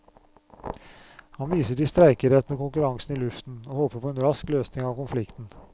Han viser til streikeretten og konkurransen i luften, og håper på en rask løsning av konflikten.